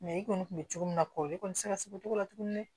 i kɔni tun bɛ cogo min na kɔli kɔni tɛ ka se o cogo la tuguni dɛ